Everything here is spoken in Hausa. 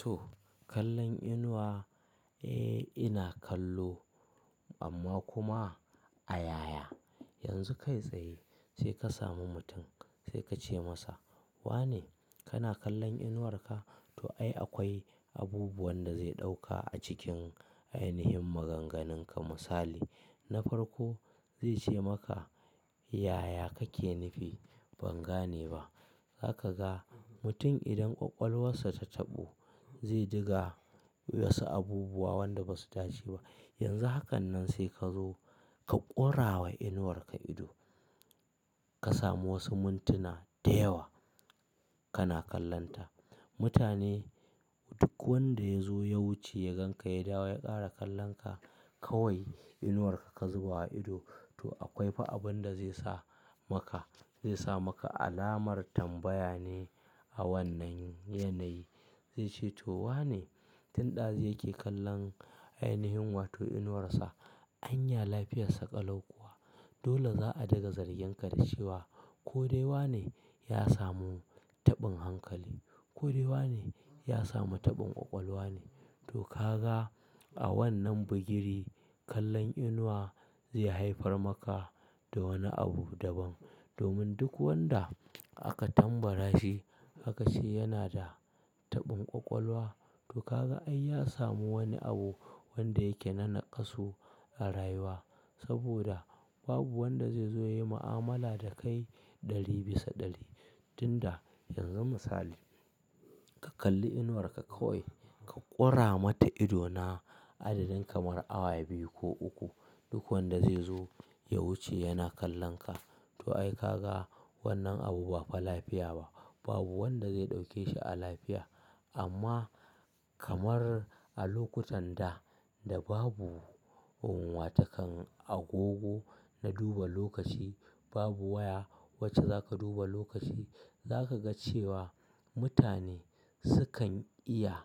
To kallon inuwa, eh ina kallo amma kuma a yaya? Yanzu kai tsaye sai ka samu mutum sai ka ce masa, "wane kana kallon inuwarka?" To ai akwai abubuwan da zai ɗauka a cikin ainihin maganganunka misali na farko zai ce maka, "yaya kake nufi? Ban gane ba." Za ka ga mutum idan ƙwaƙwalwarsa ta taɓu zai diga wasu abubuwa wanda ba su dace ba. Yanzu haka nan sai ka zo ka ƙura wa inuwarka ido. Ka samu wasu muntuna da yawa kana kallonta. Mutane duk wanda ya zo ya wuce ya ganka ya dawo ya ƙara kallonka kawai inuwarka ka zuba wa ido. To akwai fa abin da zai sa maka, zai sa maka alamar tambaya ne a wannan yanayi. Zai ce to wane tin ɗazun yake kallon ainihin wato inuwarsa? Anya lafiyassa kalau kuwa. Dole za a daga zarginka da cewa ko dai wane ya samu taɓin hankali, ko dai wane ya samu taɓin ƙwaƙwalwa ne. To ka ga a wannan bugiri kallon inuwa zai haifar maka da wani abu daban. Domin duk wanda aka tambara shi aka ce yana da taɓin ƙwaƙwalwa to ka ga ai ya samu wani abu wanda yake na nakasu a rayuwa. Saboda babu wanda zai zo ya yi ma'amala da kai ɗari bisa ɗari tin da yanzu misali ka kalli inuwar ka ka ƙoye ka ƙora mata ido na adadin kamar awa biyu ko uku duk wanda zai zo ya wuce yana kallonka. To ai ka ga wannan abu ba fa lafiya ba. Babu wanda zai ɗauke shi a lafiya amma kamar a lokutan da da babu wata kan agogo na duba lokaci babu waya wacce za ka duba lokaci za ka ga cewa mutane sukan iya